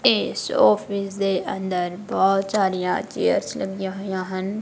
ਇਸ ਔਫਿਸ ਦੇ ਅੰਦਰ ਬੋਹੁਤ ਸਾਰੀਆਂ ਚੇਅਰਸ ਲੱਗੀਆਂ ਹੋਈਆਂ ਹਨ।